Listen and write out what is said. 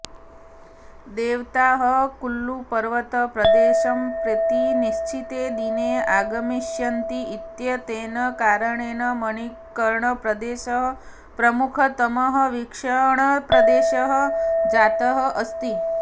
देवताः कुल्लुपर्वतप्रदेशं प्रति निश्चिते दिने आगमिष्यन्ति इत्येतेन कारणेन मणिकर्णप्रदेशः प्रमुखतमः वीक्षणप्रदेशः जातः अस्ति